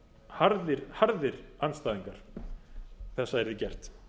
harðir harðir andstæðingar þess að yrði gert